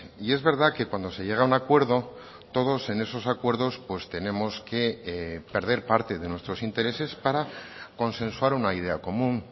y es verdad que cuando se llega a un acuerdo todos en esos acuerdos pues tenemos que perder parte de nuestros intereses para consensuar una idea común